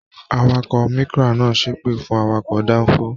Àwàkọ̀ Micra náà ṣepe fún awakọ̀ danfo.